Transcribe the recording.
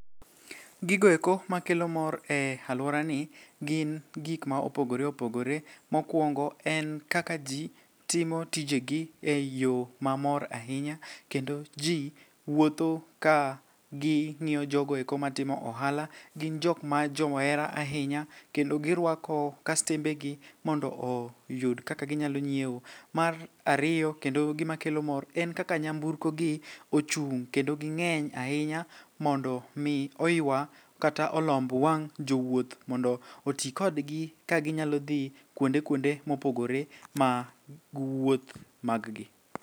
Gigoeko makelo mor e alworani gin gikma opogore opogore mokwongo en kaka ji timo tijegi e yo mamor ahinya kendo ji wuotho ka ging'iyo jogoeko matimo ohala gin jokma johera ahinya kendo girwako kastembegi mondo oyud kaka ginyalo nyieo. Mar ariyo kendo gimakelo mor en kaka nyamburkogi ochung' kendo ging'eny ahinya mondo mi oywa kata olomb wang' jowuoth mondo oti kodgi kaginyalo dhi kuonde kuonde mopogore mag wuoth maggi.